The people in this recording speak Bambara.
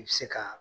I bi se ka